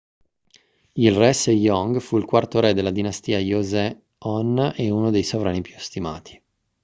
il re sejong fu il quarto re della dinastia joseon e uno dei sovrani più stimati